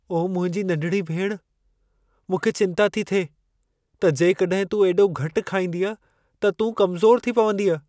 ओ मुंहिंजी नंढिड़ी भेण, मूंखे चिंता थी थिए त जेकॾहिं तूं एॾो घटि खाईंदीअं त तूं कमज़ोरु थी पवंदीअं।